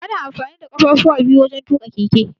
Ana amfani da ƙafafuwa biyu wajan tuƙa keke.